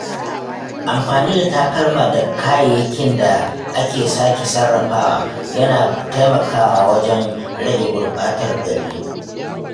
Amfani da takalma da kayayyakin da aka sake sarrafawa yana taimakawa wajen rage gurɓatar gari.